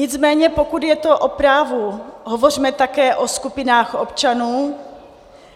Nicméně pokud je to o právu, hovořme také o skupinách občanů,